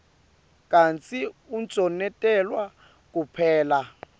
kantsi unconotelwa kuphela